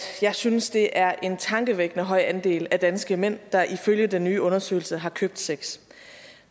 jeg synes det er en tankevækkende høj andel af danske mænd der ifølge den nye undersøgelse har købt sex